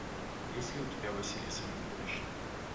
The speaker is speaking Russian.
есть ли у тебя василиса микулишна